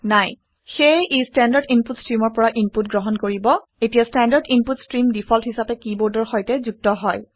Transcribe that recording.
সেয়ে ই standard input ষ্ট্ৰিমৰ পৰা ইনপুট গ্ৰহণ কৰিব এতিয়া ষ্টেণ্ডাৰ্ড ইনপুট ষ্ট্ৰীম ডিফল্ট হিচাপে কিবৰ্ডৰ সৈতে যুক্ত হয়